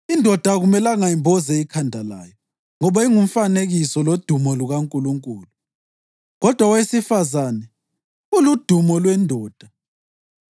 Indoda akumelanga imboze ikhanda layo, ngoba ingumfanekiso lodumo lukaNkulunkulu kodwa owesifazane uludumo lwendoda.